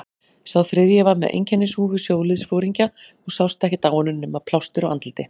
Sá þriðji var með einkennishúfu sjóliðsforingja og sást ekkert á honum nema plástur á andliti.